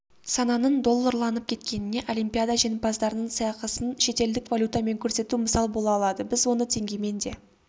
сананың долларланып кеткеніне олимпиада жеңімпаздарының сыйақысын шетелдік валютамен көрсету мысал бола алады біз оны теңгемен де